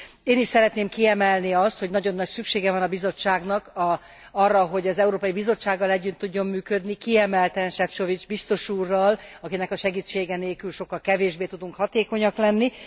Én is szeretném kiemelni azt, hogy nagyon nagy szüksége van a bizottságnak arra, hogy az Európai Bizottsággal együtt tudjon működni, kiemelten Sefcovic biztos úrral, akinek a segítsége nélkül sokkal kevésbé tudunk hatékonyak lenni.